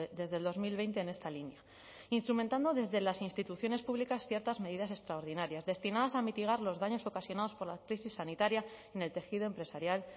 desde el dos mil veinte en esta línea instrumentando desde las instituciones públicas ciertas medidas extraordinarias destinados a mitigar los daños ocasionados por la crisis sanitaria en el tejido empresarial